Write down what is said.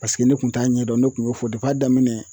Paseke ne kun t'a ɲɛdɔn ne kun y'o fɔ daminɛ